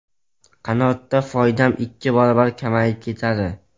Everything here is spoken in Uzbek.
Qanotda foydam ikki barobar kamayib ketadi.